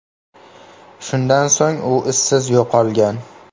Shundan so‘ng u izsiz yo‘qolgan.